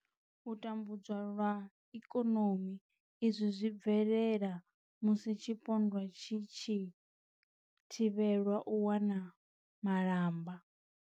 U tambudzwa lwa ikonomi izwi zwi bvelela musi tshipondwa tshi tshi thivhelwa u wana malamba.